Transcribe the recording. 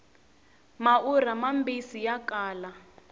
maurha mambisi ya kala